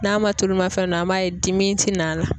N'a ma tulumafɛn dɔ an b'a ye dimi ti n'a la